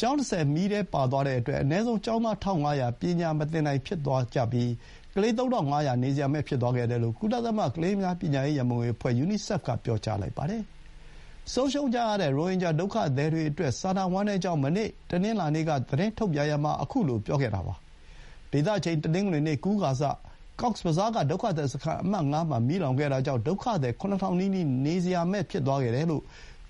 ကျောင်း ၂၀ မီးထဲပါသွားတဲ့အတွက် အနည်းဆုံး ကျောင်းသား ၁,၅၀၀ ပညာမသင်နိုင်ဖြစ်သွားကြရပါတယ်။ ရိုဟင်ဂျာ ကလေး ၃,၅၀၀ လည်း နေစရာမဲ့သွားခဲ့တယ်လို့ ကုလသမဂ္ဂ ကလေးများ ပညာရေး ရံပုံငွေအဖွဲ့ (ယူနီဆက်ဖ်) က ပြောလိုက်ပါတယ်။ ဆုံးရှုံးကြရတဲ့ ရိုဟင်ဂျာဒုက္ခသည်တွေအတွက် စာနာဝမ်းနည်းကြောင်း မနေ့ တနင်္လာနေ့က သတင်းထုတ်ပြန်ရာမှာ ခုလို ပြောလိုက်တာပါ။ ဒေသအချိန် တနင်္ဂနွေနေ့ ကူးကာစ ကောက်စ်ဘဇားက ဒုက္ခသည်စခန်း အမှတ် ၅ မှာ မီးလောင်ခဲ့တာကြောင့် ဒုက္ခသည် ၇.၀၀၀ နီးနီး နေစရာမဲ့ဖြစ်သွားခဲ့တယ်လို့